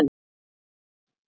Þinn faðir.